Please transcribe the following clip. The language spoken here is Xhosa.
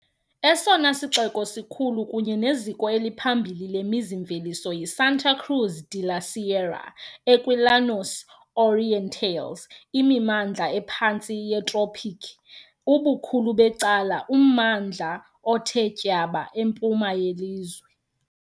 Esona sixeko sikhulu kunye neziko eliphambili lemizi-mveliso yiSanta Cruz de la Sierra, ekwiLlanos Orientales, imimandla ephantsi yetropiki, ubukhulu becala ummandla othe tyaba empuma yelizwe.